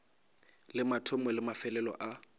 le mathomo le mafelelo a